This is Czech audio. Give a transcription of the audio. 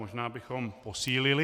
Možná bychom posílili.